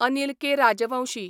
Anil K. Rajvanshi